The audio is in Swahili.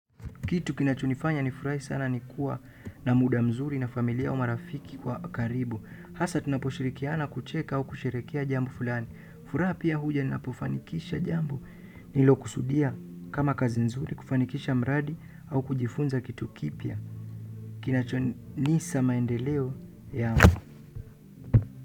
Kitu kinachonifanya nifurahi sana ni kuwa na muda mzuri na familia au marafiki kwa karibu hasa tunaposhirikiana kucheka au kusherekea jambo fulani furaha pia huja ninapofanikisha jambo nililokusudia kama kazi mzuri kufanikisha mradi au kujifunza kitu kipya kinachonisa maendeleo yangu.